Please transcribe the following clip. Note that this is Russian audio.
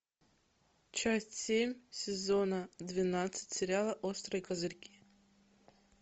часть семь сезона двенадцать сериала острые козырьки